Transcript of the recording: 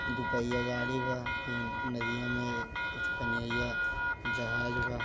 दुपहिया गाड़ी बा नदिया में कुछ पनिया जहाज बा --